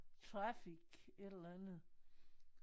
Trafic et eller andet